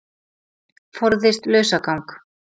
Forðist lausagang